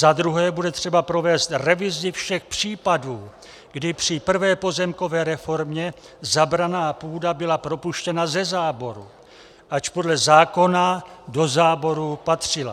Za druhé bude třeba provést revizi všech případů, kdy při prvé pozemkové reformě zabraná půda byla propuštěna ze záboru, ač podle zákona do záboru patřila.